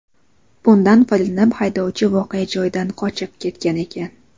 Bundan foydalanib, haydovchi voqea joyidan qochib ketgan ekan.